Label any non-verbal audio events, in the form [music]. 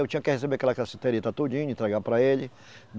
Eu tinha que receber aquela cassiterita tudinho, entregar para ele. [unintelligible]